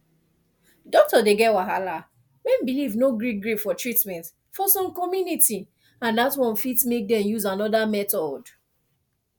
doctor dey get wahala when belief no gree gree for treatment for some community and that one fit make dem use another method